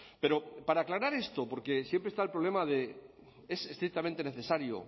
pero para aclarar esto porque siempre está el problema de es estrictamente necesario